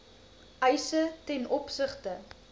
eise ten opsigte